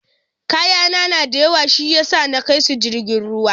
kayana na da yawa shiyasa akaisu jirgin ruwa.